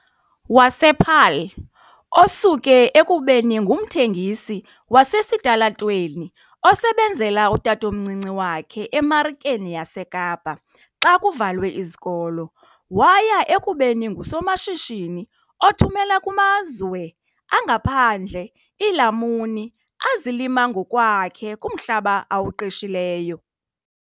wasePaarl, osuke ekubeni ngumthengisi wasesitalatweni osebenzela utatomncinci wakhe eMarikeni yaseKapa xa kuvalwe izikolo waya ekubeni ngusomashishini othumela kumazwe angaphandle iilamuni azilima ngokwakhe kumhlaba awuqeshileyo.